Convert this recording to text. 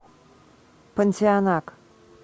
понтианак